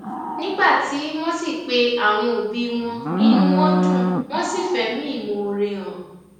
nígbà tí wọn sì pe àwọn òbí wọn inú wọn dùn wọn sì fẹmí ìmoore hàn